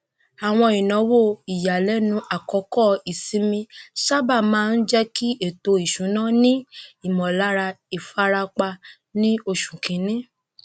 àwọn ináwó ìyàlẹnu àkókò ìsinmi sábà máa ń jẹ kí ètò isúnà ni ìmọlára ìfarapa ní oṣù kínní